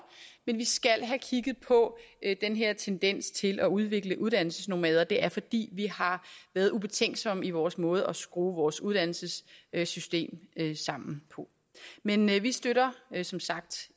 men vi skal have kigget på den her tendens til at udvikle uddannelsesnomader det er fordi vi har været ubetænksomme i vores måde at skrue vores uddannelsesystem sammen på men vi støtter som sagt